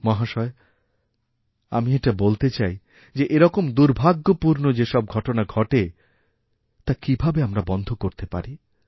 মহাশয় আমি এটা বলতে চাই যে এরকম দুর্ভাগ্যপূর্ণ যেসবঘটনা ঘটে তা কীভাবে আমরা বন্ধ করতে পারি